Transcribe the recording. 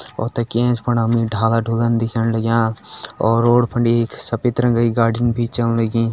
और तेकी ऐंच फुंड ढाला-ढुलन दिख्येण लाग्यां और रोड फंडी सफ़ेद रंगक की गाडी भी चलण लगीं।